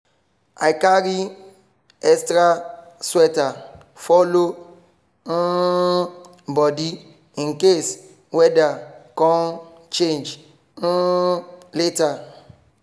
i carry extra sweater follow um body in case weda con change um later.